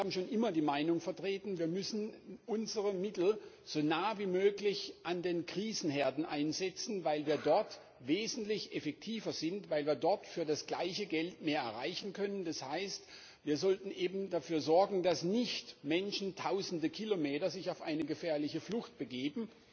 Wir haben schon immer die Meinung vertreten, wir müssen unsere Mittel so nah wie möglich an den Krisenherden einsetzen, weil wir dort wesentlich effektiver sind, weil wir dort für das gleiche Geld mehr erreichen können Das heißt, wir sollten dafür sorgen, dass sich Menschen nicht tausende Kilometer auf eine gefährliche Flucht begeben,